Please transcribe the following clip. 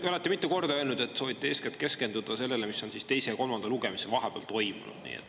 Te olete mitu korda öelnud, et soovite keskenduda eeskätt sellele, mis on toimunud teise ja kolmanda lugemise vahel.